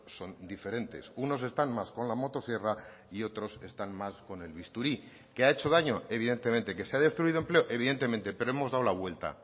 son diferentes unos están más con la motosierra y otros están más con el bisturí que ha hecho daño evidentemente que se ha destruido empleo evidentemente pero hemos dado la vuelta